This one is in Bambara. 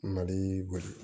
Mali gosi